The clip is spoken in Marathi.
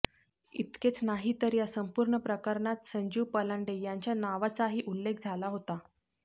इतकेच नाही तर या संपूर्ण प्रकरणात संजीव पलांडे यांच्या नावाचाही उल्लेख झाला होता